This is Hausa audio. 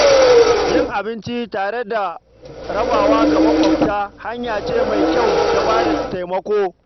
Yin abinci tare da rabawa ga mabuƙata hanya ce mai kyau ta ba da taimako.